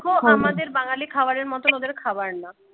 আমাদের বাঙালি খাবারের মত ওদের খাবার না